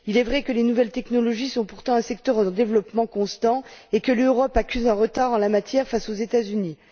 Il est vrai que les nouvelles technologies sont un secteur en développement constant et que l'Europe accuse un retard en la matière face aux États Unis.